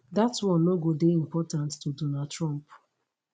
dat one no go dey important to donald trump